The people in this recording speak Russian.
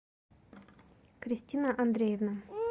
кристина андреевна